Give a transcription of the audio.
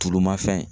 Tulu ma fɛn